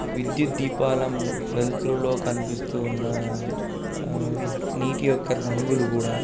విద్యుత్ దీపాల వెలుతురులో కనిపిస్తూ ఉన్న నీట్టియొక్క రంగులు కూడ--